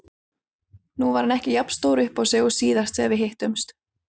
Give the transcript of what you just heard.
Nú var hann ekki jafn stór uppá sig og síðast þegar við hittumst.